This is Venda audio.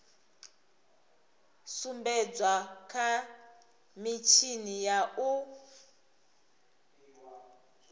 sumbedzwa kha mitshini ya u